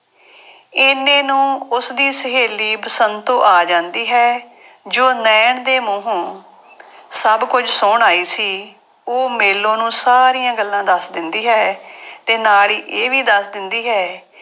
ਇੰਨੇ ਨੂੰ ਉਸਦੀ ਸਹੇਲੀ ਬਸੰਤੋ ਆ ਜਾਂਦੀ ਹੈ ਜੋ ਨੈਣ ਦੇ ਮੂੰਹੋਂ ਸਭ ਕੁੱਝ ਸੁਣ ਆਈ ਸੀ, ਉਹ ਮੇਲੋ ਨੂੰ ਸਾਰੀਆਂ ਗੱਲਾਂ ਦੱਸ ਦਿੰਦੀ ਹੈ ਤੇ ਨਾਲ ਹੀ ਇਹ ਵੀ ਦੱਸ ਦਿੰਦੀ ਹੈ,